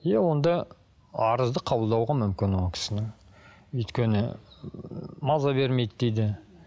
иә онда арызды қабылдауға мүмкін ол кісінің өйткені маза бермейді дейді